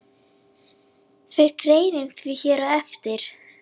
Fer greinin því hér á eftir.